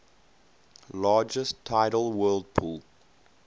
largest tidal whirlpool